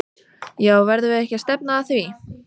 Já verðum við ekki að stefna að því?!